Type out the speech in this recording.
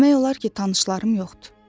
Demək olar ki, tanışlarım yoxdur.